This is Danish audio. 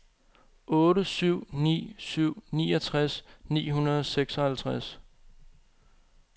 otte syv ni syv niogtres ni hundrede og seksoghalvtreds